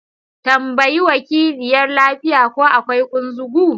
Tambayi wakiliyar lafiya ko akwai kunzugu?